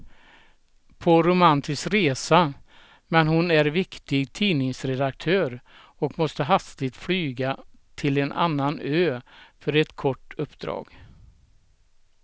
På romantisk resa, men hon är viktig tidningsredaktör och måste hastigt flyga till en annan ö för ett kort uppdrag.